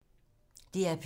DR P2